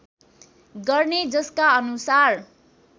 गर्ने जसका अनुसार